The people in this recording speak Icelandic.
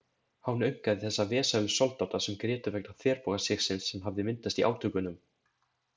Hán aumkaði þessa vesælu soldáta sem grétu vegna þverbogasigsins sem hafði myndast í átökunum.